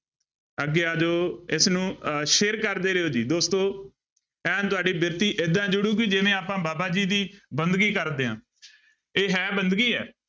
ਅੱਗੇ ਆ ਜਾਓ ਇਸਨੂੰ ਅਹ share ਕਰਦੇ ਰਹਿਓ ਜੀ ਦੋਸਤੋ ਐਨ ਤੁਹਾਡੀ ਬਿਰਤੀ ਏਦਾਂ ਜੁੜੇਗੀ ਜਿਵੇਂ ਆਪਾਂ ਬਾਬਾ ਜੀ ਦੀ ਬੰਦਗੀ ਕਰਦੇ ਹਾਂ ਇਹ ਹੈ ਬੰਦਗੀ ਹੈ।